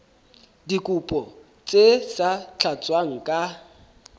dikopo tse sa tlatswang ka